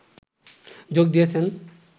যোগ দিয়েছেন